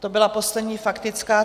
To byla poslední faktická.